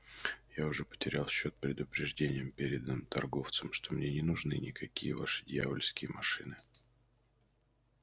я уже потерял счёт предупреждениям переданным торговцам что мне не нужны никакие ваши дьявольские машины